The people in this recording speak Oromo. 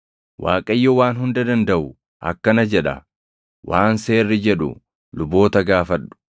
“ Waaqayyo Waan Hunda Dandaʼu akkana jedha; ‘Waan seerri jedhu luboota gaafadhu;